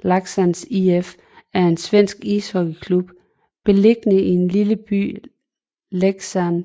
Leksands IF er en svensk ishockeyklub beliggende i den lille by Leksand